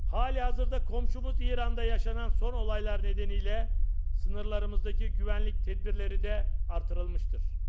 Hal-hazırda qonşumuz İranda baş verən son hadisələrə görə, sərhədlərimizdəki təhlükəsizlik tədbirləri də artırılıb.